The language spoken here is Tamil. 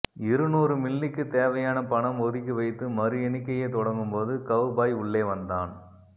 இரு நூறு மில்லிக்குத் தேவையான பணம் ஒதுக்கிவைத்து மறுஎண்ணிக்கையைத் தொடங்கும்போது கெளபாய் உள்ளே வந்தான்